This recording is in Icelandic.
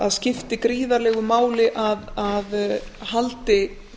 að skipti gríðarlegu máli að haldi